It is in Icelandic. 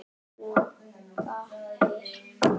Hún gapir.